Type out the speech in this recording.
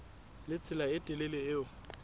le tsela e telele eo